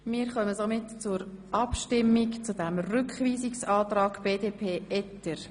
Somit kommen wir zur Abstimmung über den Rückweisungsantrag BDP Etter.